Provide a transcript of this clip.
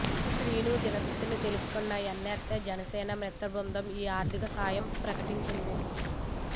శ్రీను దీనస్థితి తెలుసుకున్న ఎన్నారై జనసేన మిత్రబృందం ఈ ఆర్థిక సాయం ప్రకటించింది